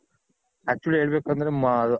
actually ಹೇಳ್ಬೇಕ್ ಅಂದ್ರೆ